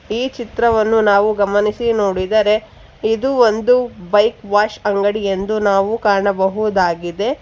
. ಈ ಚಿತ್ರವನ್ನು ನಾವು ಗಮನಿಸಿ ನೋಡಿದರೆ ಇದು ಒಂದು ಬೈಕ್ ವಾಶ್ ಅಂಗಡಿ ಎಂದು ನಾವು ಕಾಣಬಹುದಾಗಿದೆ